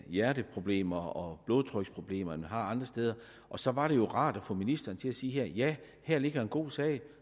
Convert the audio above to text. hjerteproblemer og blodtryksproblemer end man har andre steder og så var det rart om få ministeren til at sige ja her ligger en god sag